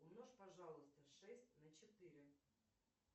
умножь пожалуйста шесть на четыре